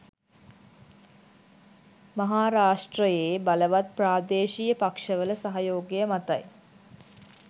මහාරාෂ්ට්‍රයේ බලවත් ප්‍රාදේශීය පක්ෂවල සහයෝගය මතයි.